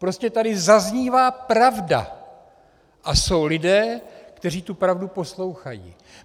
Prostě tady zaznívá pravda a jsou lidé, kteří tu pravdu poslouchají.